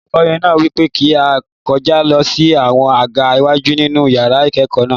Olùkọ náà wípé kí á kọjá lọ sí àwọn àga iwájú nínú yàrá ìkẹ́kọ̀ọ́ náà.